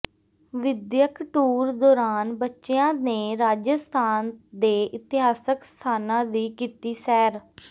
ਵਿਦਿਅਕ ਟੂਰ ਦੌਰਾਨ ਬੱਚਿਆਂ ਨੇ ਰਾਜਸਥਾਨ ਦੇ ਇਤਿਹਾਸਕ ਸਥਾਨਾਂ ਦੀ ਕੀਤੀ ਸੈਰ